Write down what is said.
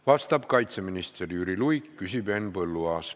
Vastab kaitseminister Jüri Luik, küsib Henn Põlluaas.